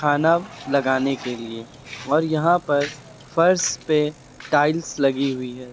खाना लगाने के लिए और यहां पर फर्श पे टाइल्स लगी हुई हैं।